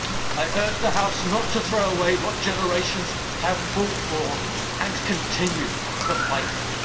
I urge the House not to throw away what generations have fought for and continue to fight for.